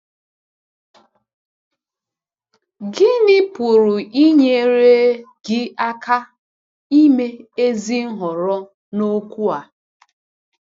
Gịnị pụrụ inyere gị aka ime ezi nhọrọ n’okwu a?